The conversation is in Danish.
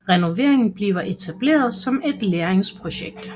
Renoveringen bliver etableret som et lærlingsprojekt